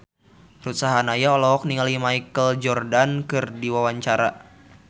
Ruth Sahanaya olohok ningali Michael Jordan keur diwawancara